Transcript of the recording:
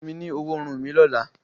fún mí ní ọwọ́ Irun mi lọla.